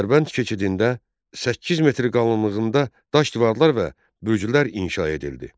Dərbənd keçidində 8 metr qalınlığında daş divarlar və bürclər inşa edildi.